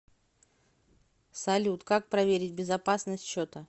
салют как проверить безопасность счета